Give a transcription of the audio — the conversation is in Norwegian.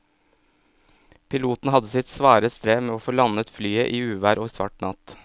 Piloten hadde sitt svare strev med å få landet flyet i uvær og svart natt.